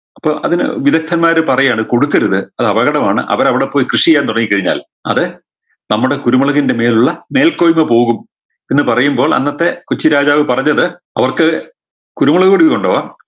അപ്പൊ അതിന് വിദഗ്ദ്ധന്മാര് പറയാണ് കൊടുക്കരുത് അതപകടമാണ് അവരവിടെപ്പോയി കൃഷി ചെയ്യാൻ തുടങ്ങിക്കഴിഞ്ഞാൽ അത് നമ്മുടെ കുരുമുളകിൻറെ മേലുള്ള മേൽകൊയ്മ പോകും എന്ന് പറയുമ്പോൾ അന്നത്തെ കൊച്ചിരാജാവ് പറഞ്ഞത് അവർക്ക് കുരുമുളക് കൊടി കൊണ്ടുപോകാം